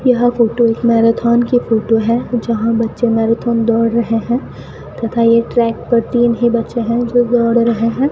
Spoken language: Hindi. यह फोटो इस मैराथन की फोटो है जहां बच्चे मैराथन दौड़ रहे हैं तथा यह ट्रैक पर तीन ही बच्चे हैं जो दौड़ रहे हैं।